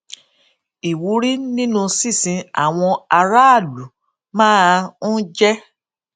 ìwúrí nínú sísin àwọn aráàlú máa ń jé